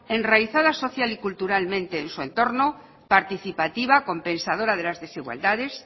enraizada social y culturalmente en su entrono participativa compensadora de las desigualdades